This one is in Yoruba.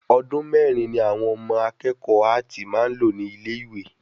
Ọdún mẹ́rin ni àwọn akẹ́kọ̀ọ́ áàtì máa n lò ní ilé ìwé